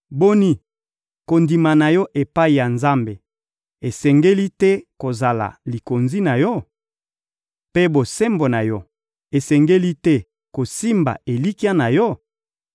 Boni, kondima na yo epai ya Nzambe esengeli te kozala likonzi na yo, mpe bosembo na yo esengeli te kosimba elikya na yo?